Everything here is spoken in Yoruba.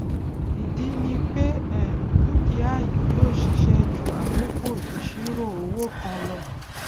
ìdí ni pé um dúkìá yìí yìó ṣiṣé ju àkókò ìṣirò owó kan lo